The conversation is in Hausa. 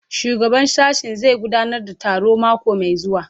Shugaban sashen zai gudanar da taro mako mai zuwa